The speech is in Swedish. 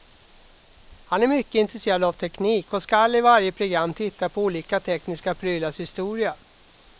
Han är mycket intresserad av teknik och skall i varje program titta på olika tekniska prylars historia.